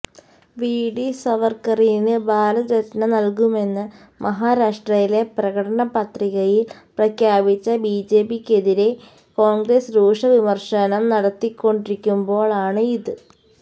V D സവർക്കറിന് ഭാരത് രത്ന നൽകുമെന്ന് മഹാരാഷ്ട്രയിലെ പ്രകടനപത്രികയിൽ പ്രഖ്യാപിച്ച ബിജെപിക്കെതിരെ കോൺഗ്രസ് രൂക്ഷ വിമർശനം നടത്തിക്കൊണ്ടിരിക്കുമ്പോളാണ് ഇത്